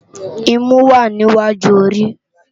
Imú wá ni iwájú óri